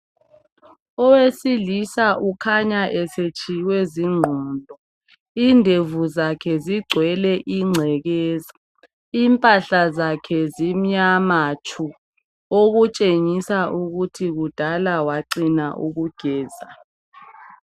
Owesilisa ukhanya esetshiywe zingqondo indevu zakhe zigcwele ingcekeza, impahla zakhe zimnyama tshuu, okutshengisa ukuthi kudala wacina ukugeza.